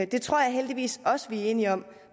det tror jeg heldigvis også vi er enige om